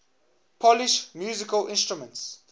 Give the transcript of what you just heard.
polish musical instruments